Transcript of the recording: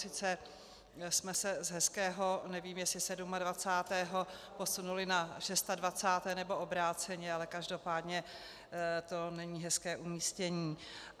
Sice jsme se z hezkého, nevím, jestli 27. přesunuli na 26., nebo obráceně, ale každopádně to není hezké umístění.